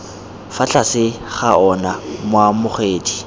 fa tlase ga ona moamogedi